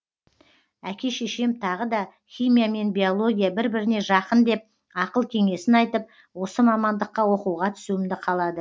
әке шешем тағы да химия мен биология бір біріне жақын деп ақыл кеңесін айтып осы мамандыққа оқуға түсуімді қалады